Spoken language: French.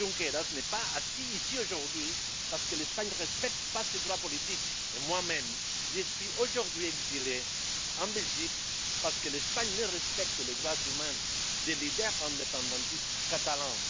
Oriol Junqueras n'est pas assis ici aujourd'hui parce que l'Espagne ne respecte pas ses droits politiques, et moi même je suis aujourd'hui exilé en Belgique parce que l'Espagne ne respecte pas les droits humains des leaders indépendantistes catalans.